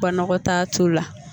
Banakɔtaa t'u la